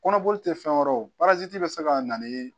Kɔnɔboli tɛ fɛn wɛrɛ bɛ se ka na ni